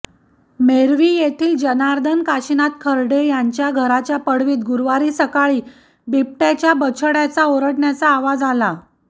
मेर्वी येथील जनार्दन काशिनाथ खरडे यांच्या घराच्या पडवीत गुरुवारी सकाळी बिबट्याच्या बछड्याचा ओरडण्याचा आवाज आला